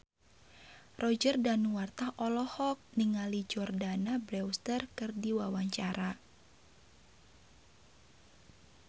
Roger Danuarta olohok ningali Jordana Brewster keur diwawancara